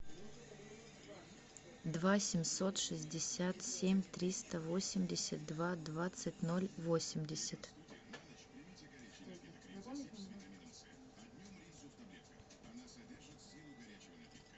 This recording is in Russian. два семьсот шестьдесят семь триста восемьдесят два двадцать ноль восемьдесят